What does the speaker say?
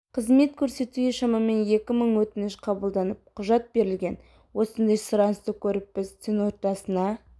қызмет көрсетуге шамамен екі мың өтініш қабылданып құжат берілген осындай сұранысты көріп біз түн ортасына